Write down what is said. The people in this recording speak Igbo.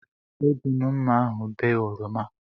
Eji m mmá ahụ bee oroma.